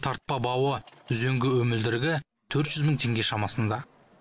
тартпа бауы үзеңгі өмілдірігі төрт жүз мың теңге шамасында